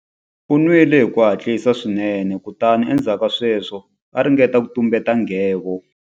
U nwile hi ku hatlisa swinene kutani endzhaku ka sweswo a ringeta ku tumbeta nghevo.